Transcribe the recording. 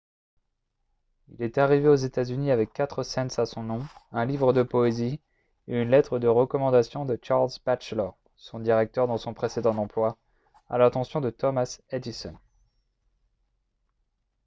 il est arrivé aux états-unis avec quatre cents à son nom un livre de poésie et une lettre de recommandation de charles batchelor son directeur dans son précédent emploi à l'attention de thomas edison